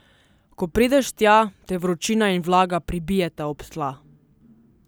Ko prideš tja, te vročina in vlaga pribijeta ob tla.